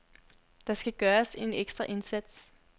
Der skal gøres en ekstra indsats.